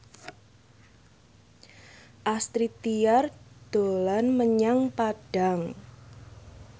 Astrid Tiar dolan menyang Padang